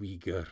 uighur